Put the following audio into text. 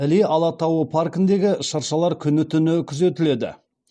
іле алатауы паркіндегі шыршалар күні түні күзетіледі